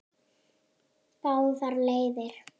Báðar leiðir.